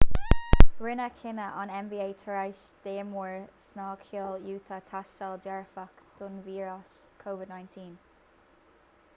rinneadh cinneadh an nba tar éis d'imreoir snagcheoil utah tástáil dearfach don víreas covid-19